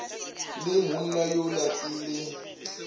le monna yola ke le